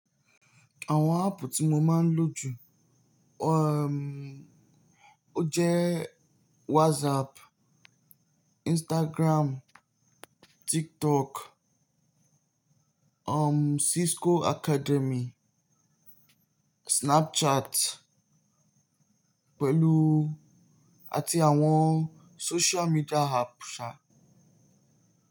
Àwọn áàpù tí mo máa ń lò jù, um, ó jẹ́ WhatsApp, Instagram, TikTok, um, Cisco Academy, Snapchat pẹ̀lú àti àwọn social media ápp sà.